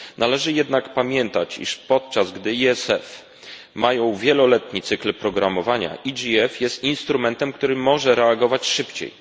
Należy jednak pamiętać, iż podczas gdy EFS ma wieloletni cykl programowania, EGF jest instrumentem, który może reagować szybciej.